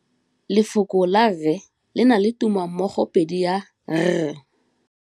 Lefoko la rre le na le tumammogôpedi ya, r.